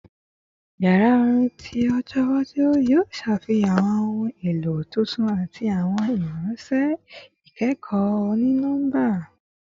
Yara orin ti ojo iwaju yoo ṣafihan awọn ohun elo tuntun ati awọn irinṣẹ ikẹkọ oni-nọmba